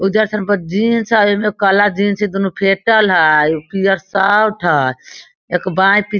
उधर पर जींस आर येमे काला जींस इ दोनों फेटल हय अ इ पियर शर्ट हय एक बाय पि --